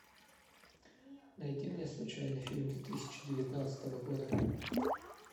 найди мне случайный фильм две тысячи девятнадцатого года